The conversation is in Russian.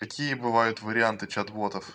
какие бывают варианты чат ботов